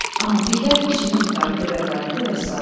Amma dey gəl işini qurtarıb evə qayıtdı, vəssalam.